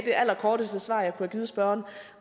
det allerkorteste svar jeg kunne have givet spørgeren